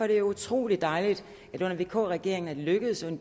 det utrolig dejligt at det under vk regeringen er lykkedes